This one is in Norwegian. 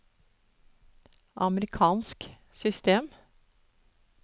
amerikansk system